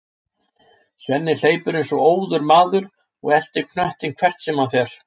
Svenni hleypur eins og óður maður og eltir knöttinn hvert sem hann fer.